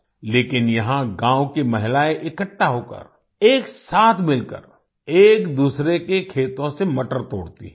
लेकिन यहाँ गाँव की महिलाएं इकट्ठा होकर एक साथ मिलकर एकदूसरे के खेतों से मटर तोड़ती हैं